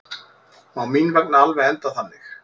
Má mín vegna alveg enda þannig.